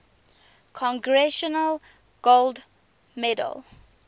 congressional gold medal